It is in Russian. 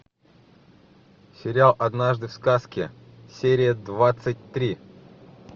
сериал однажды в сказке серия двадцать три